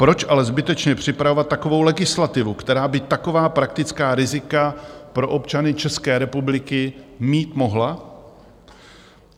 Proč ale zbytečně připravovat takovou legislativu, která by taková praktická rizika pro občany České republiky mít mohla?